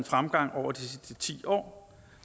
fremgang over de sidste ti år